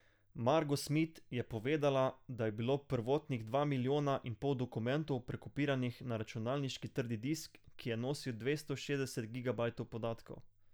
Margo Smit je povedala, da je bilo prvotnih dva milijona in pol dokumentov prekopiranih na računalniški trdi disk, ki je nosil dvesto šestdeset gigabajtov podatkov.